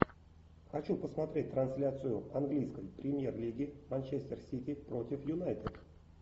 хочу посмотреть трансляцию английской премьер лиги манчестер сити против юнайтед